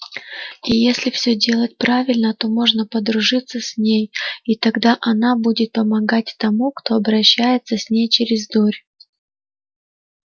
и если все делать правильно то можно подружиться с ней и тогда она будет помогать тому кто общается с ней через дурь